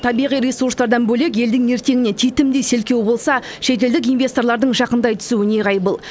табиғи ресурстардан бөлек елдің ертеңіне титімдей селкеу болса шетелдік инвесторлардың жақындай түсуі неғайбыл